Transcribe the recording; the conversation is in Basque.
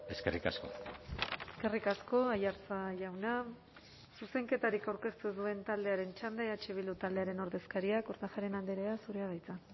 eskerrik asko eskerrik asko aiartza jauna zuzenketarik aurkeztu ez duen taldearen txanda eh bildu taldearen ordezkaria kortajarena andrea zurea da hitza